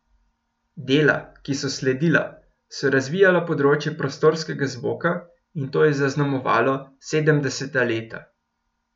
Dela, ki so sledila, so razvijala področje prostorskega zvoka in to je zaznamovalo sedemdeseta leta.